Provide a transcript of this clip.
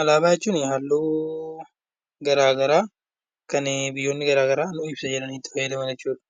Alaabaa jechuun halluu garaagaraa kan biyyoonni garaagaraa itti fayyadaman jechuudha.